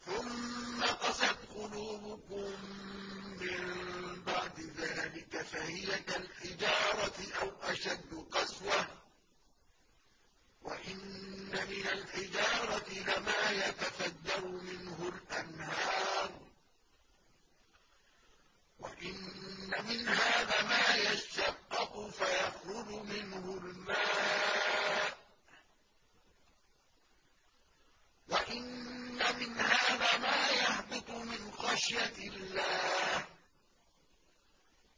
ثُمَّ قَسَتْ قُلُوبُكُم مِّن بَعْدِ ذَٰلِكَ فَهِيَ كَالْحِجَارَةِ أَوْ أَشَدُّ قَسْوَةً ۚ وَإِنَّ مِنَ الْحِجَارَةِ لَمَا يَتَفَجَّرُ مِنْهُ الْأَنْهَارُ ۚ وَإِنَّ مِنْهَا لَمَا يَشَّقَّقُ فَيَخْرُجُ مِنْهُ الْمَاءُ ۚ وَإِنَّ مِنْهَا لَمَا يَهْبِطُ مِنْ خَشْيَةِ اللَّهِ ۗ